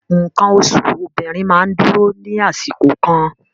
Nǹkan oṣù obìnrin máa ń dúró ní àsìkò kan